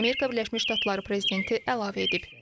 Amerika Birləşmiş Ştatları prezidenti əlavə edib.